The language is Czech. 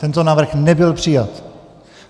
Tento návrh nebyl přijat.